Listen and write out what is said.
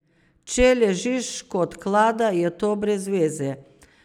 Če ležiš kot klada, je to brezveze.